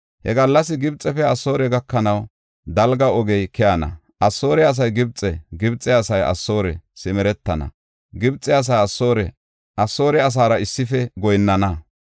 He gallas Gibxefe Asoore gakanaw dalga ogey keyana; Asoore asay Gibxe, Gibxe asay Asoore simeretana; Gibxe asay Asoore asaara issife goyinnana.